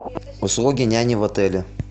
услуги няни в отеле